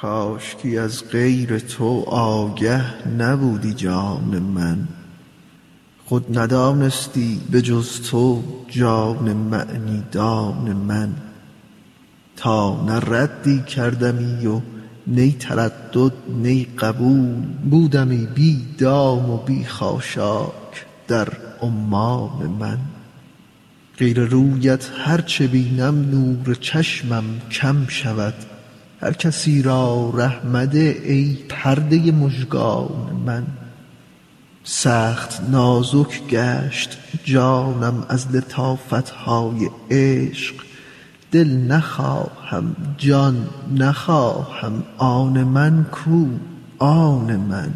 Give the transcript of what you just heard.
کاشکی از غیر تو آگه نبودی جان من خود ندانستی به جز تو جان معنی دان من تا نه ردی کردمی و نی تردد نی قبول بودمی بی دام و بی خاشاک در عمان من غیر رویت هر چه بینم نور چشمم کم شود هر کسی را ره مده ای پرده مژگان من سخت نازک گشت جانم از لطافت های عشق دل نخواهم جان نخواهم آن من کو آن من